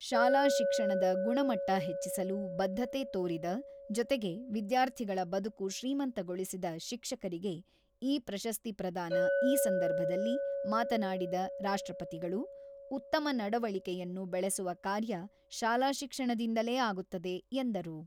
ಶಾಲಾ ಶಿಕ್ಷಣದ ಗುಣಮಟ್ಟ ಹೆಚ್ಚಿಸಲು ಬದ್ಧತೆ ತೋರಿದ ಜೊತೆಗೆ ವಿದ್ಯಾರ್ಥಿಗಳ ಬದುಕು ಶ್ರೀಮಂತಗೊಳಿಸಿದ ಶಿಕ್ಷಕರಿಗೆ ಈ ಪ್ರಶಸ್ತಿ ಪ್ರದಾನ ಈ ಸಂದರ್ಭದಲ್ಲಿ ಮಾತನಾಡಿದ ರಾಷ್ಟ್ರಪತಿಗಳು, ಉತ್ತಮ ನಡೆವಳಿಕೆಯನ್ನು ಬೆಳೆಸುವ ಕಾರ್ಯ ಶಾಲಾ ಶಿಕ್ಷಣದಿಂದಲೇ ಆಗುತ್ತದೆ ಎಂದರು.